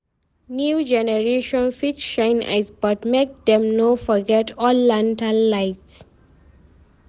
New generation fit shine eyes, but make dem no forget old lantern light.